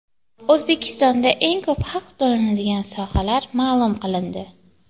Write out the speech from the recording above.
O‘zbekistonda eng ko‘p haq to‘lanadigan sohalar ma’lum qilindi.